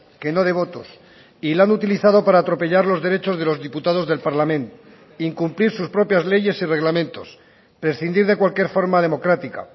que no de votos y la han utilizado para atropellar los derechos de los diputados del parlament incumplir sus propias leyes y reglamentos prescindir de cualquier forma democrática